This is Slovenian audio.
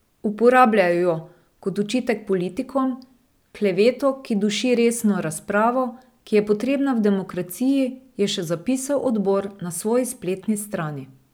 Uporabljajo jo kot očitek politikom, kleveto, ki duši resno razpravo, ki je potrebna v demokraciji, je še zapisal odbor na svoji spletni strani.